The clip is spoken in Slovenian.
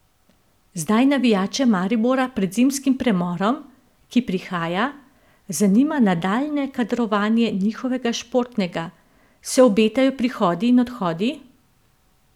Zdaj navijače Maribora pred zimskim premorom, ki prihaja, zanima nadaljnje kadrovanje njihovega športnega Se obetajo prihodi in odhodi?